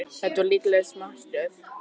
Þetta er líkast martröð.